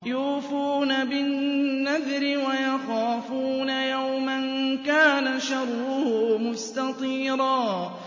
يُوفُونَ بِالنَّذْرِ وَيَخَافُونَ يَوْمًا كَانَ شَرُّهُ مُسْتَطِيرًا